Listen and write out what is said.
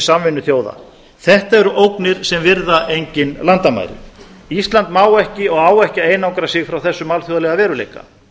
samvinnu þjóða þetta eru ógnir sem virða engin landamæri ísland má ekki og á ekki að einangra sig frá þessum alþjóðlega veruleika